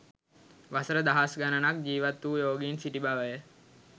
වසර දහස් ගණනක් ජීවත් වූ යෝගීන් සිටි බවය